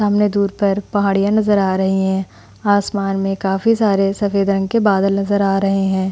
सामने दूर पर पहाड़िया नजर आ रही है। आसमान में काफी सारे सफ़ेद रंग के बादल नजर आ रहे है।